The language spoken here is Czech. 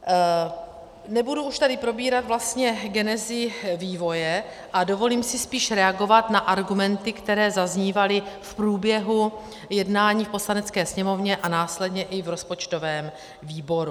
Nebudu už tady probírat vlastně genezi vývoje a dovolím si spíš reagovat na argumenty, které zaznívaly v průběhu jednání v Poslanecké sněmovně a následně i v rozpočtovém výboru.